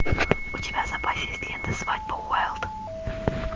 у тебя в запасе есть лента свадьба уайлд